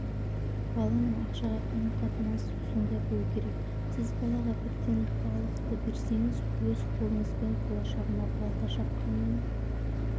баланың ақшаға қарым-қатынасы сондай болу керек сіз балаға бірден балықты берсеңіз өз қолыңызбен болашағына балта шапқанмен